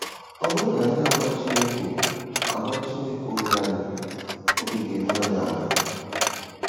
Ọ bụrụ na anyị agwa Chineke agwa Chineke obi anyị, obi ga-eru anyị ala.